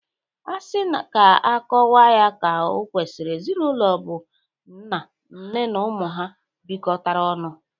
Asị ka akọwa ya ka o kwesiri, ezinaụlọ bụ nna, nne na ụmụ ha bịkọtara ọnụ.